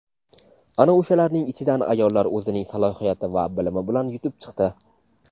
ana o‘shalarning ichidan ayollar o‘zining salohiyati va bilimi bilan yutib chiqdi.